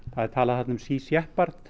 það er talað þarna um Sea